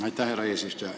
Aitäh, härra eesistuja!